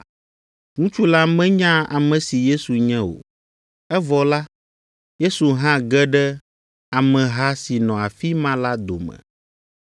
Ŋutsu la menya ame si Yesu nye o, evɔ la, Yesu hã ge ɖe ameha si nɔ afi ma la dome.